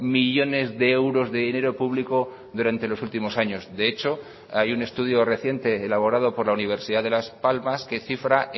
millónes de euros de dinero público durante los últimos años de hecho hay un estudio reciente elaborado por la universidad de las palmas que cifra